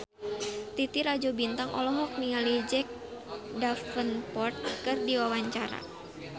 Titi Rajo Bintang olohok ningali Jack Davenport keur diwawancara